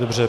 Dobře.